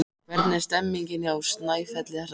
Hvernig er stemmningin hjá Snæfelli þessa dagana?